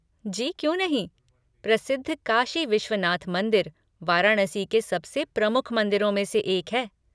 जी क्यों नहीं। प्रसिद्ध काशी विश्वनाथ मंदिर, वाराणसी के सबसे प्रमुख मंदिरों में से एक है।